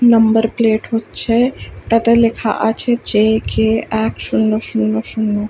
number plate হচ্ছে- এ তাতে লেখা আছে যে- কে- এক শুন্য শুন্য শুন্য